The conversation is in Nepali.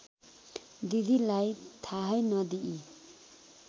दिदीलाई थाहै नदिई